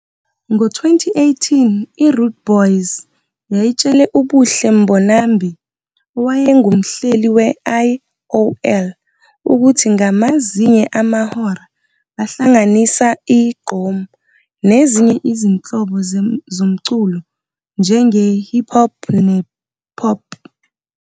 Ngo-2018, i-Rudeboyz yayitshele uBuhle Mbonambi, owayengumhleli we-IOL, ukuthi ngamazinye amahora bahlanganisa i-gqom nezinye izinhlobo zezomculo njenge-hip hop ne-pop.